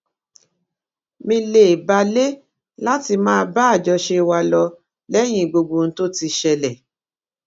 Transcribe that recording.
mi lè balè láti máa bá àjọṣe wa lọ léyìn gbogbo ohun tó ti ṣẹlè